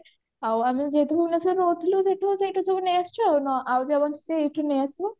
ଆଉ ଆମେ ଯେହେତୁ ଭୁବନେଶ୍ବରରେ ରହୁଥିଲୁ ତ ସେଇଠୁ ସେଇଠୁ ସବୁ ନେଇ ଆସିଛୁ ଆଉ ଯାହା ବଞ୍ଚିଛି ଏଇଠୁ ନେଇଆସିବୁ